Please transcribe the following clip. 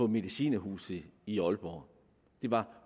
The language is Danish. medicinerhuset i aalborg var